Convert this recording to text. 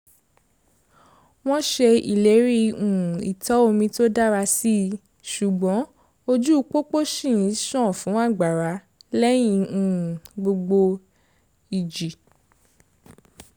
wọ́n ṣe ìlérí um ìtọ̀ omi tó dára síi ṣùgbọ́n ojú pópó ṣì ń ṣàn fún àgbàrá lẹ́yìn um gbogbo ìjì